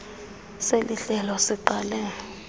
seli hlelo siqale